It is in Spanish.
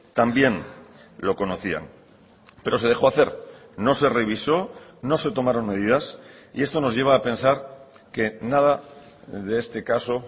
también lo conocían pero se dejó hacer no se revisó no se tomaron medidas y esto nos lleva a pensar que nada de este caso